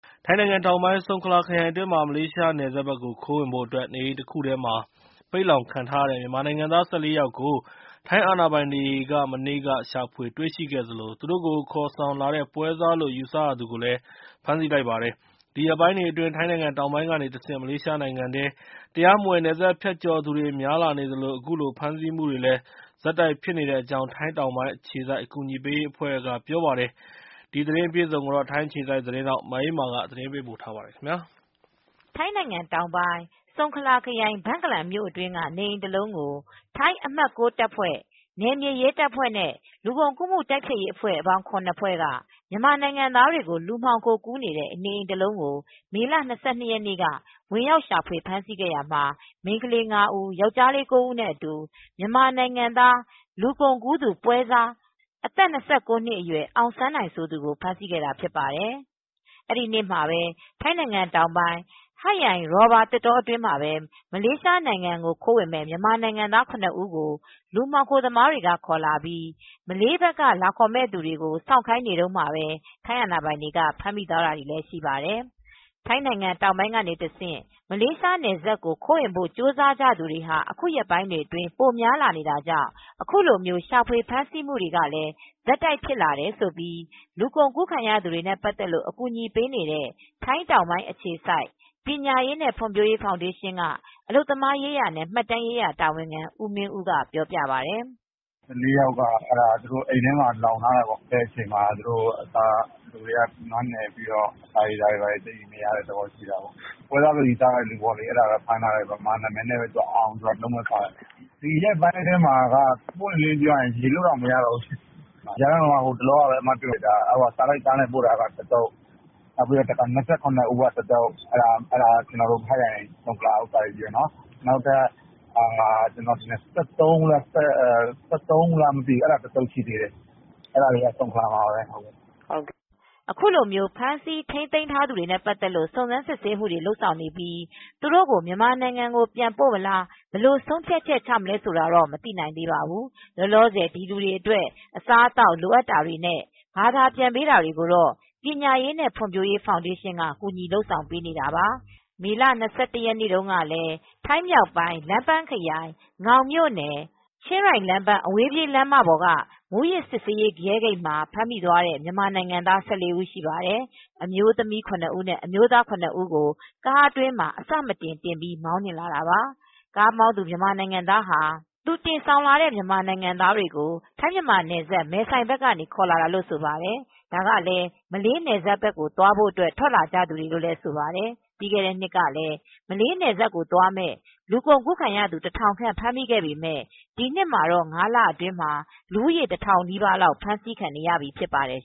ထိုင်းနိုင်ငံတောင်ပိုင်း ဆုံခလာခရိုင်အတွင်းမှာ မလေးရှားနယ်စပ်ဘက်ကို ခိုးဝင်ဖို့အတွက် နေအိမ်တခုထဲမှာ ပိတ်လှောင်ခံထားရတဲ့ မြန်မာနိုင်ငံသား ၁၄ ယောက်ကို ထိုင်းအာဏာပိုင်တွေက မနေ့က ရှာဖွေတွေ့ရှိခဲ့သလို၊ သူတို့ကို ခေါ်ဆောင်လာတဲ့ပွဲစားလို့ ယူဆရသူကိုလည်း ဖမ်းဆီးခဲ့ပါတယ်။ ဒီရက်ပိုင်းတွေအတွင်း ထိုင်းတောင်ပိုင်းကနေတဆင့် မလေးရှားနိုင်ငံထဲ တရားမဝင် နယ်စပ်ဖြတ်ကျော်သူတွေ များလာနေသလို၊ အခုလို ဖမ်းဆီးမှုတွေလည်း ဆက်တိုက် ဖြစ်နေတဲ့အကြောင်း ထိုင်းတောင်ပိုင်း အခြေစိုက် အကူအညီပေးရေးအဖွဲ့တွေက ပြောပါတယ်။ ထိုင်းအခြေစိုက် VOA သတင်းထောက် မအေးအေးမာက ပြောပြပေးမှာပါ။ ထိုင်းနိုင်ငံ တောင်းပိုင်း ဆုံခလာခရိုင် ဘန့်ကလန်မြို့တွင်းက နေအိမ်တစ်လုံးကို ထိုင်းအမှတ် တပ်ဖွဲ့ နယ်မြေရဲ့ လူကုန်ကုန်ကူး မှုတိုက်ဖျက်ရေး စတဲ့ အဖွဲပေါင်း ဖွဲ့က မြန်မာနိုင်ငံသားတွေကို လူမှောင်ကူးနေတဲ့ နေအိမ်တစ်လုံး ကို မေလ ၂၂ ရက်နေ့က ဝင်ရောက် ရှာဖွေ ဖမ်းဆီးခဲ့ရာမှာ မိန်းကလေး ၅ဦး ၊ အမျိုးသား ၉ ဦး နဲ့ အတူ မြန်မာနိုင်ငံသား လူကုန်ကူး ပွဲ့စား အောင်စန်းနိုင် ( အသက် ၂၉ နှစ် )ကို ဖမ်းဆီးခဲ့တာဖြစ်ပါတယ်။ အဲဒီနေ့ မှာပဲ ထိုင်းနိုင်ငံတောင်းပိုင် ဟတ်ယိုင် ရော်ဘာသစ်တော အတွင်းမှာလည်း မလေးရှားနိုင်ငံကို ခိုးဝင်မယ့် မြန်မာ နိုင်ငံသား ဦး ကို လူမှောင်ခို သမားတွေက ခေါ်လာပြီး မလေးဘက်က လာခေါ်မယ့်သူတွေ စောင့်ခိုင်း နေတုန်းမှာ ထိုင်းအာဏာပိုင်တွေက ဖမ်းမိသွားတာတွေလည်း ရှိပါတယ်။ ထိုင်းနိုင်ငံတောင်ပိုင်းကနေ တဆင့် မလေးရှားနယ်စပ်ကို ခိုးဝင်ဖို့ကြိုးစားသူတွေကို အခုရက်ပိုင်းတွေ အတွင်း ပိုများလာနေတာကြောင့် အခုလို ရှာဖွေ ဖမ်းဆီးမှုတွေလည်း ဆက်တိုက်ဖြစ်လာနေတယ်လို့ လူကုန်ကူးခံရသူတွေနဲ့ ပတ်သက်လို့ အကူညီပေးနေတဲ့ ထိုင်းတောင်ပိုင်း ခြေစိုက် ပညာရေးနဲ့ ဖွံ့ဖြိုးရေးဖောင်ဒေးရှင်း က အလုပ်သမားရေးရာနဲ့ မှတ်တမ်းရေးရာ တာဝန်ခ ံဦးမင်းဦးက ပြောပါတယ်။ “အိမ်ထဲမှာ လှောင်ထားတယ်ပေါ့ ။ အာဏာပိုင်တွေကယ်ထုတ်ချိန်မှာ လူတွေကနွမ်းနယ်နေတယ်။ ပွဲစားလို့ ယူဆရတဲ့ လူ အောင် လို့အမည်ရတဲ့ မြန်မာတယောက်ကိုလည်း ဖမ်းဆီးထားတယ်။ ဒီရက်ပိုင်းအတွင်းမှာက ရေတွက်လိုတောင်မရတော့ဘူး စာတိုက်ကားနဲ့ ကတသုတ် ၊ ၂၇ ဦးကတသုတ် နောက်ထပ် ၁၃ဦးတသုတ် အဲဒါတွေက ဆုံခလာမှာပဲရှိသေးတာ။” အခုလို ဖမ်းဆီးထိန်းသိမ်းထားသူတွေနဲ့ ပတ်သက်လို့ စုံစမ်းစစ်ဆေးမှုတွေ လုပ်ဆောင်နေပြီး၊ သူတို့ကို မြန်မာနိုင်ငံကို ပြန်ပို့မလား။ ဘယ်လိုဆုံးဖြတ်ချက် ချမှာလဲ ဆိုတာတော့ မသိနိုင်သေးပါဘူး။ လောလောဆယ် ဒီလူတွေအတွက် အစားအသောက် လိုအပ်တာတွေနဲ့ ဘာသာပြန်ပေး တာတွေကိုတော့ ပညာရေးနဲ့ ဖွံ့ဖြိုးရေးဖောင်ဒေးရှင်းက ကူညီလုပ်ဆောင် ပေးနေတာပါ။ မေလ ၂၁ ရက်နေ့ကလည်း ထိုင်းမြောက်ပိုင်း လမ်းပန်းခရိုင် ငေါင်မြို့နယ်၊ ချင်းရိုင် လမ်းပန်းအဝေးပြေး လမ်းမ က မူးယစ်စစ်ဆေးရေးရဲ့ ဂိတ်မှာ ဖမ်းမိသွားတဲ့ မြန်မာနိုင်ငံသား ၁၄ ဦးရှိပါတယ် ၊ အမျိုးသမီး ဦး အမျိုးသား ဦး ကို ကားအတွင်းမှာ အဆမတန် တင်ပြီးမောင်းလာတာပါ။ ကားမောင်းသူ မြန်မာနိုင်ငံသား ဟာသူတင်ဆောင်လာတဲ့ မြန်မာ နိုင်ငံသားတွေကို ထိုင်း-မြန်မာနယ်စပ် မဲဆိုင် ကနေ ခေါ်လာတာလို့ ဆိုပါတယ်။ ဒါကလည်း မလေးနယ်စပ်ဘက်ကို သွားဖို့ အတွက် ထွက်လာကြသူတွေပါ။ ပြီးခဲ့တဲ့နှစ်က မလေးနယ်စပ်ကို သွားမယ့် လူကုန်ကူးခံရသူ ၁၀၀၀ခန့် ဖမ်းမိခဲ့ပေမဲ့ ဒီနှစ်မှာတော့ ၅လ အတွင်း လူဦးရေ တထောင်နီးပါးလောက် ဖမ်းဆီးခံနေရပြီ ဖြစ်ပါတယ်